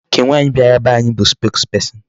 Nke nwaanyị bịara be anyị bụ spokesperson.